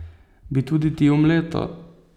Bi tudi ti omleto?